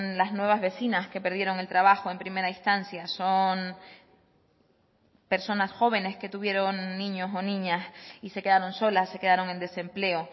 las nuevas vecinas que perdieron el trabajo en primera instancia son personas jóvenes que tuvieron niños o niñas y se quedaron solas se quedaron en desempleo